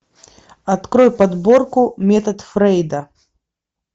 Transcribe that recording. открой подборку метод фрейда